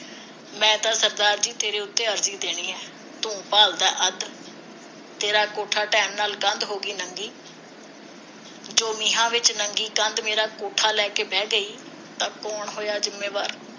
ਮੈਂ ਤਾਂ ਸਰਦਾਰ ਜੀ ਤੇਰੇ ਉਤੇ ਅਰਜੀ ਦੇਣੀ ਹੈ ਤੂੰ ਭਾਲਦਾ ਅੱਧ ਤੇਰਾ ਕੋਠਾ ਨਾਲ ਕੰਧ ਹੋ ਗਈ ਨੰਗੀ ਜੋ ਨੀਹਾਂ ਵਿਚ ਨੰਗੀ ਕੰਧ ਮੇਰਾ ਕੋਠਾ ਲੈ ਕੇ ਬਹਿ ਗਈ ਤਾਂ ਕੌਣ ਹੋਇਆ ਜਿੰਮੇਵਾਰ